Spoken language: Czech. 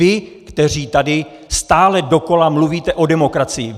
Vy, kteří tady stále dokola mluvíte o demokracii!